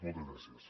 moltes gràcies